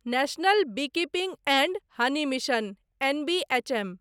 national beekeeping and honey mission, NBHM